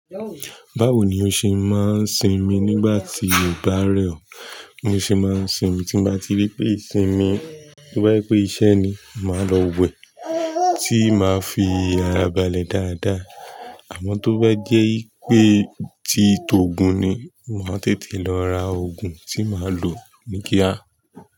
Báwo ni ó ṣe máa ń sinmi nígbà tí ó bá rẹ̀ ọ́? Bi mo ṣe máa ń sinmi, tí mo bá ti rí pé ìsinmi, tí mo bá rí pé iṣẹ́ ni, màá lọ wẹ̀, tí máa fi ara balẹ̀ dáadáa. Àmọ́ tó bá jẹ́ pé ti tòògun ni, mo máa tètè lọ ra òògùn tí màá lò ní kíá.